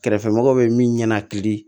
Kɛrɛfɛmɔgɔw bɛ min ɲɛnakili